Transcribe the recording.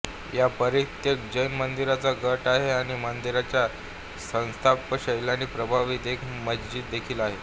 हा परित्यक्त जैन मंदिरांचा गट आहे आणि मंदिरांच्या स्थापत्य शैलीने प्रभावित एक मशिद देखील आहे